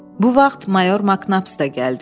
Bu vaxt mayor Maknap da gəldi.